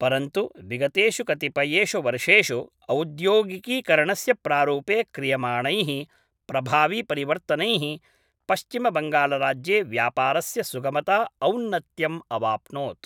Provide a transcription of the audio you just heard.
परन्तु, विगतेषु कतिपयेषु वर्षेषु औद्योगिकीकरणस्य प्रारूपे क्रियमाणैः प्रभावीपरिवर्तनैः पश्चिमबङ्गालराज्ये व्यापारस्य सुगमता औन्नत्यम् अवाप्नोत्।